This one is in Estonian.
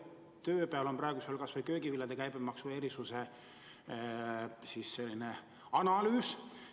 Näiteks on praegu pooleli kas või köögiviljade käibemaksu erisuse analüüs.